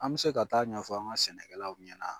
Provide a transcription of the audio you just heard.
An bɛ se ka taa ɲɛfɔ an ka sɛnɛkɛlaw ɲɛna.